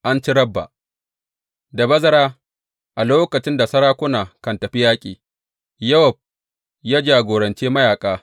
An ci Rabba Da bazara, a lokacin da sarakuna kan tafi yaƙi, Yowab ya jagorance mayaƙa.